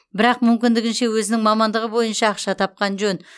бірақ мүмкіндігінше өзінің мамандығы бойынша ақша тапқан жөн